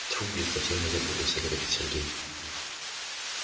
тьфу блин совсем я запутался говорит сергей